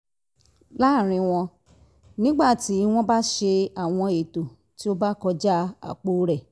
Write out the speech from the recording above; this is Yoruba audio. lára wọn nígbà tí wọ́n bá ṣe àwọn ètò tí ó bá kọjá àpò rẹ̀